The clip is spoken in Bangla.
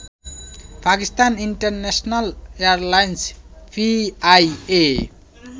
পাকিস্তান ইন্টারন্যাশনাল এয়ারলাইনে পিআইএ